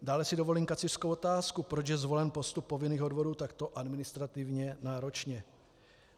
Dále si dovolím kacířskou otázku, proč je zvolen postup povinných odvodů takto administrativně náročně.